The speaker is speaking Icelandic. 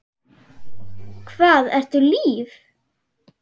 Hvað ertu líf?